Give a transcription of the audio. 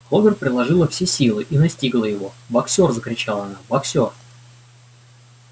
кловер приложила все силы и настигла его боксёр закричала она боксёр